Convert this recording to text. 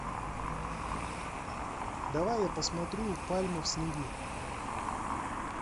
давай я посмотрю пальмы в снегу